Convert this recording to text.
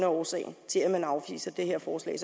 årsagen til at man afviser det her forslag